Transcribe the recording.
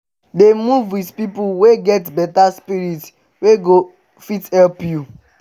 dey move wit pipo wey get beta spirit wey go fit help you